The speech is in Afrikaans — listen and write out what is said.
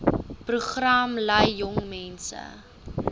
program lei jongmense